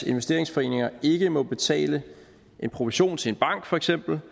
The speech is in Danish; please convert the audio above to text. investeringsforeninger ikke må betale en provision til for eksempel